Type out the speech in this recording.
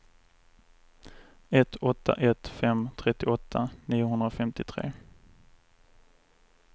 ett åtta ett fem trettioåtta niohundrafemtiotre